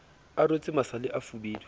a rwetse masale a fubedu